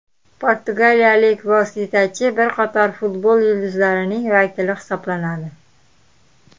Portugaliyalik vositachi bir qator futbol yulduzlarining vakili hisoblanadi.